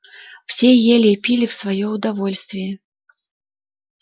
все ели и пили в своё удовольствие